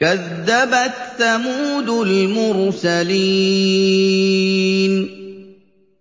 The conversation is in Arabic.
كَذَّبَتْ ثَمُودُ الْمُرْسَلِينَ